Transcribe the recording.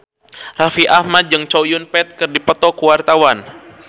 Raffi Ahmad jeung Chow Yun Fat keur dipoto ku wartawan